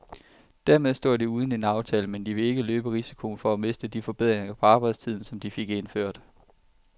Dermed står de uden en aftale, men de vil ikke løbe risikoen for at miste de forbedringer på arbejdstiden, som de fik indført.